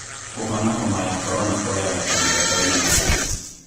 Kũhona homa ya korona kuoyaga kahida kaigana atĩa?